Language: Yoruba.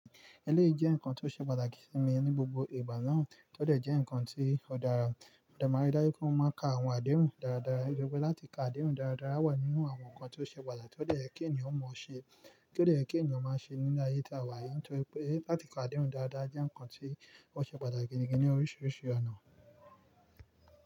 Ẹlẹ́rìí jẹ́ nǹkan tó ṣe pàtàkì sí mi ní gbogbo ìgbà náà, tọ dẹ̀ jẹ́ nǹkan tí ọ̀ dàra mo dẹ máa rí dájú pe mo má ka àwọn àdéhùn dáradára. Nítorí pè láti ka àdéhùn dáradára wà nínú àwọn nǹkan tó ṣe pàtàkì tó dẹ̀ yẹ kí ènìyàn mọ ṣe, kí ó dẹ̀ yẹ kí ènìyàn má ṣe nínú ayé tí àwa yí, nítorí pé láti ka àdéhùn dáradára jẹ́ nǹkan tí ó ṣe pàtàkì gidi gan ní oríṣiríṣi ọ̀nà.